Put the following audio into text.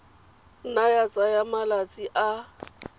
nna ya tsaya malatsi a